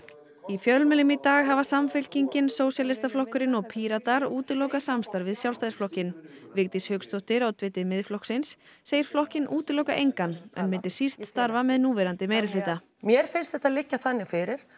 í fjölmiðlum í dag hafa Samfylkingin Sósíalistaflokkurinn og Píratar útilokað samstarf við Sjálfstæðisflokkinn Vigdís Hauksdóttir oddviti Miðflokksins segir flokkinn útiloka engan en myndi síst starfa með núverandi meirihluta mér finnst þetta liggja þannig fyrir